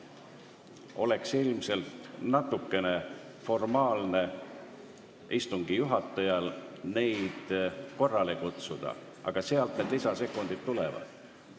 Istungi juhatajast oleks ilmselt natukene liiga formaalne neid korrale kutsuda, aga sealt need lisasekundid tulevad.